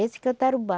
Esse que é o tarubá.